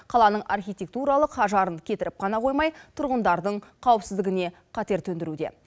қаланың архитектуралық ажарын кетіріп қана қоймай тұрғындардың қауіпсіздігіне қатер төндіруде